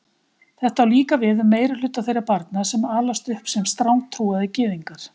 Þetta á líka við um meirihluta þeirra barna sem alast upp sem strangtrúaðir gyðingar.